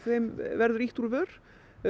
verður ýtt úr vör